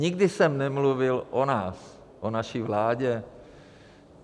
Nikdy jsem nemluvil o nás, o naší vládě.